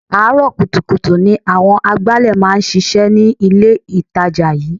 Àárọ̀ kùtùkùtù ni àwọn agbálẹ̀ máa ń ṣíṣe ní ilé itàjà yìí.